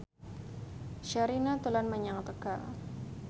Sherina dolan menyang Tegal